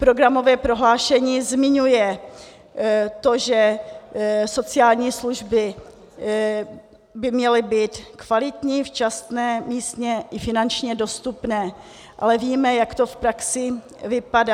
Programové prohlášení zmiňuje to, že sociální služby by měly být kvalitní, včasné, místně i finančně dostupné, ale víme, jak to v praxi vypadá.